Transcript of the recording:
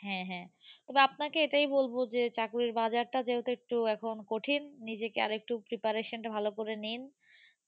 হ্যাঁ হ্যাঁ। তবে আপনাকে এটাই বলবো যে, চাকুরীর বাজারটা যেহেতু এখন কঠিন, নিজেকে আর একটু preparation টা ভালো করে নিন।